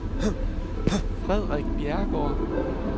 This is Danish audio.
Frederikke Bjerregaard